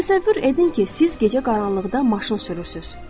Təsəvvür edin ki, siz gecə qaranlıqda maşın sürürsünüz.